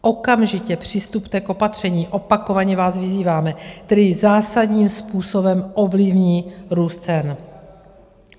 Okamžitě přistupte k opatřením, opakovaně vás vyzýváme, která zásadním způsobem ovlivní růst cen.